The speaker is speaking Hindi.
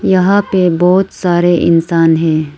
यहां पे बहोत सारे इंसान हैं।